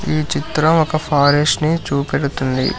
ఈ చిత్రం ఒక ఫారెస్ట్ ని చూపెడుతుంది.